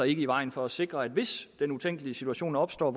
ikke i vejen for at sikre at hvis den utænkelige situation opstår